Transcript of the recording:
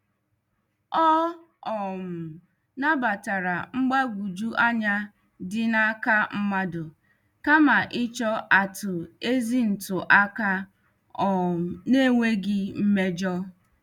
Ọ um nabatara mgbagwoju anya dị n' aka mmadụ kama ịchọ atụ ezi ntụ aka um n' enweghị mmejọ.